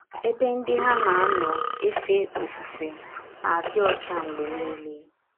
Ebe ndị ha na - anọ efe ọfụfe na - adị ọcha mgbe niile.